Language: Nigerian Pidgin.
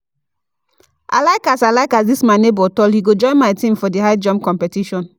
I like as I like as this my nebor tall, he go join my team for the high jump competition